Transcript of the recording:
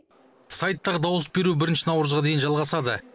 сайттағы дауыс беру бірінші наурызға дейін жалғасады